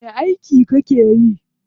Wani aiki kake yi?